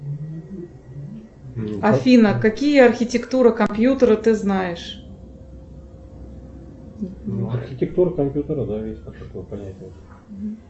афина какие архитектуры компьютера ты знаешь